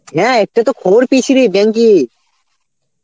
হ্যাঁ একটা তো খবর পেয়েছি রে bank এ.